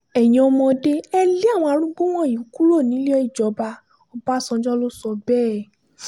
ẹ̀yin ọmọdé ẹ̀ lé àwọn arúgbó wọ̀nyí kúrò nílé ìjọba ọbadànjọ́ ló sọ bẹ́ẹ̀